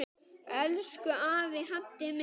Elsku afi Haddi minn.